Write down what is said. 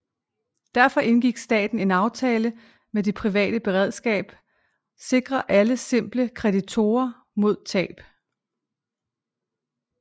Derfor indgik staten en aftale med Det Private Beredskab sikrer alle simple kreditorer mod tab